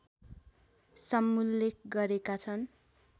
समुल्लेख गरेका छन्।